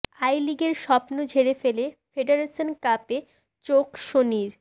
I লিগের স্বপ্ন ঝেড়ে ফেলে ফেডারেশন কাপে চোখ সনির